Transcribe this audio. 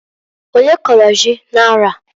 Onye kọrọ ji n'arọ a?